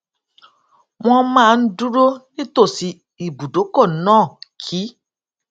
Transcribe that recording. wón máa ń dúró nítòsí ibùdókò náà kí